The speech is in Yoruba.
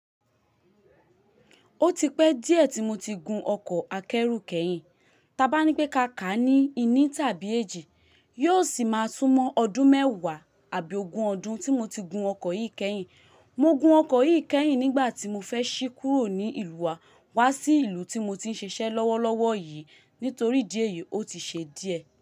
Ó ti pẹ́ díẹ̀ tí mo ti gun ọkọ̀ akẹ́rù kẹ́yìn. Taa bá ní pé ká ká a ní ìní tàbí èjì, yóò sì máa sún mọ ọdún mẹ́wàá àbí ogún ọdún tí mo ti gun ọkọ̀ yìí kẹ́yìn. Mo gun ọkọ̀ yìí kẹ́yìn nígbà tí mo fẹ́ ṣí kúrò ní ìlú wa wá sí ìlú tí mo ti ń ṣiṣẹ́ lọ́wọ́lọ́wọ́ yìí nítorí idí ẹ̀yí ó ti ṣe díẹ̀